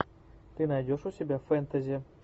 ты найдешь у себя фэнтези